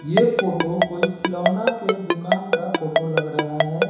ये फोटो कोई खिलौना के दुकान का फोटो लग रहा है।